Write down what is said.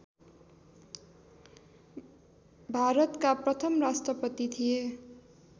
भारतका प्रथम राष्ट्रपति थिए